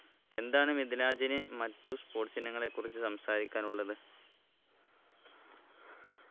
എന്താണ് മിദിലാജിന് മറ്റു sports ഇനങ്ങളെ കുറിച്ച് സംസാരിക്കാനുള്ളത്